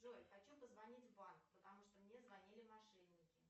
джой хочу позвонить в банк потому что мне звонили мошенники